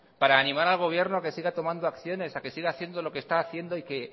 para animar al gobierno que siga tomando acciones a que siga haciendo lo que está haciendo y